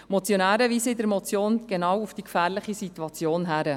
Die Motionäre weisen in der Motion genau auf die gefährliche Situation hin.